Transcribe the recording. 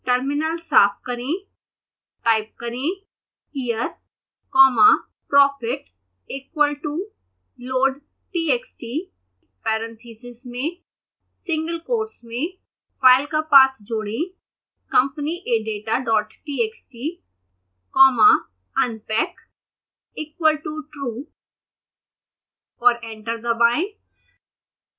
terminal साफ करें